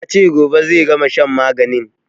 Ya ce gobe zai gama shan maganin